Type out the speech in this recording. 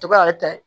To ka ta